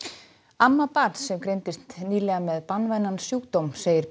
amma barns sem greindist nýlega með banvænan sjúkdóm segir